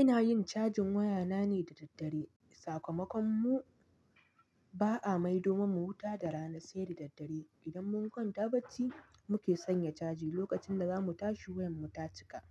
Ina yin cajin wayana ne da daddare. Sakamakon mu ba'a mai domin mu huta da rana sai da daddare. Idan mun kwanta baci muke sanya caji. Lokacin da zamu tashi wayan mu ta cika,